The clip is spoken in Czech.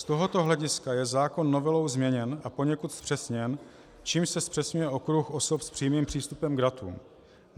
Z tohoto hlediska je zákon novelou změněn a poněkud zpřesněn, čímž se zpřesňuje okruh osob s přímým přístupem k datům.